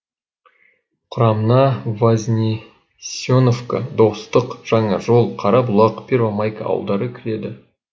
құрамына вознесеновка достық жаңажол қарабұлақ первомайка ауылдары кіреді